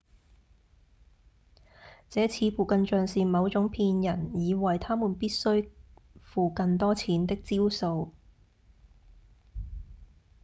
這似乎更像是某種騙人以為他們必須付更多錢的招數